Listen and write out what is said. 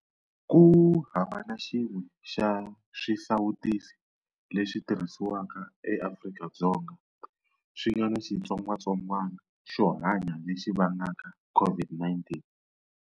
Ku hava na xin'we xa swisawutisi leswi tirhisiwaka eAfrika-Dzonga swi nga na xitsongwatsongwana xo hanya lexi vangaka COVID-19.